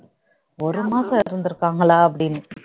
ஒரு மாசம் இருந்திருக்காங்களா அப்படின்னுட்டு